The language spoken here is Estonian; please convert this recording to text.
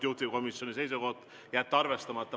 Juhtivkomisjoni seisukoht on jätta see arvestamata.